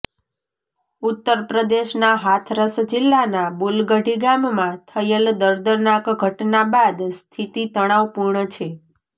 ઉત્તરપ્રદેશના હાથરસ જિલ્લાના બુલગઢી ગામમાં થયેલ દર્દનાક ઘટના બાદ સ્થિતિ તણાવપૂર્ણ છે